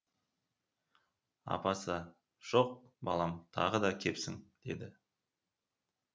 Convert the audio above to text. апасы жоқ балам тағы да кепсін деді